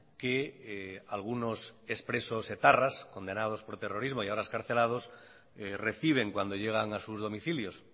que algunos ex presos etarras condenados por terrorismo y ahora excarcelados reciben cuando llegan a sus domicilios